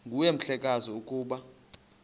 nguwe mhlekazi ukuba